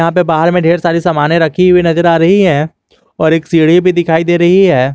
यहाँ पे बाहर में ढेर सारी समाने रखी हुई नजर आ रही है और एक सीढ़ी भी दिखाई दे रही है।